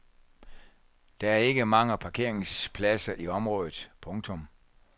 Der er ikke mange parkeringspladser i området. punktum